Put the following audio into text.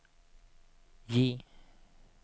J